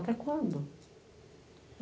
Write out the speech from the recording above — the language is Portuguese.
Até quando?